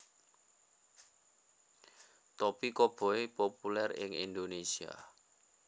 Topi Koboi populèr ing Indonesia